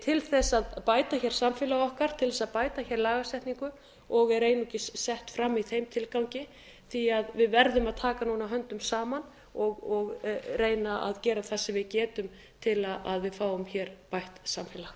til þess að bæta hér samfélag okkar til þess að bæta hér lagasetningu og er einungis sett fram í þeim tilgangi því að við verðum að taka núna höndum saman og reyna að gera það sem við getum til að við fáum hér bætt samfélag